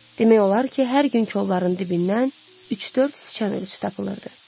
Demək olar ki, hər gün kolların dibindən üç-dörd siçan ölürü tapılırdı.